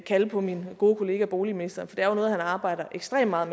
kalde på min gode kollega boligministeren for det er noget han arbejder ekstremt meget